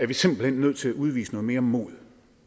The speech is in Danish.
vi simpelt hen nødt til at udvise noget mere mod